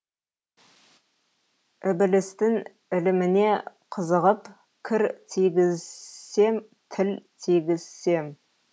ібілістің іліміне қызығып кір тигізсем тіл тигізсем